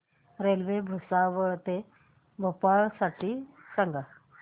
railway Bhusawal ते भोपाळ साठी सांगा